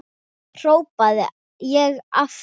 hrópaði ég aftur.